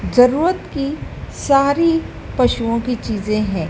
जरूरत कि सारी पशुओं की चीजें है।